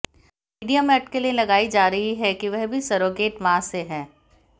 media में अटकलें लगाई जा रही हैं कि वह भी सरोगेट मां से है